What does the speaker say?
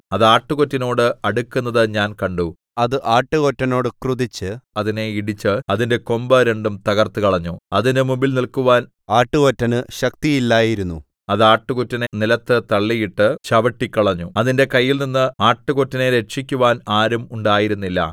അത് ആട്ടുകൊറ്റനോട് അടുക്കുന്നത് ഞാൻ കണ്ടു അത് ആട്ടുകൊറ്റനോട് ക്രുദ്ധിച്ച് അതിനെ ഇടിച്ച് അതിന്റെ കൊമ്പ് രണ്ടും തകർത്തുകളഞ്ഞു അതിന്റെ മുമ്പിൽ നില്ക്കുവാൻ ആട്ടുകൊറ്റന് ശക്തിയില്ലായിരുന്നു അത് ആട്ടുകൊറ്റനെ നിലത്ത് തള്ളിയിട്ട് ചവിട്ടിക്കളഞ്ഞു അതിന്റെ കൈയിൽനിന്ന് ആട്ടുകൊറ്റനെ രക്ഷിക്കുവാൻ ആരും ഉണ്ടായിരുന്നില്ല